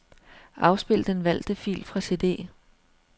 Afspil den valgte fil fra cd.